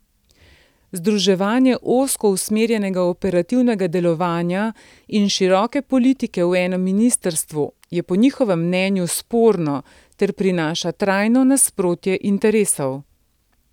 Združevanje ozko usmerjenega operativnega delovanja in široke politike v enem ministrstvu je po njihovem mnenju sporno ter prinaša trajno nasprotje interesov.